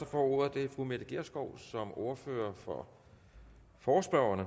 får ordet er fru mette gjerskov som ordfører for forespørgerne